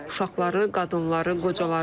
Uşaqları, qadınları, qocaları.